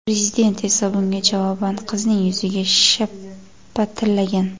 Prezident esa bunga javoban qizning yuziga shapatilagan.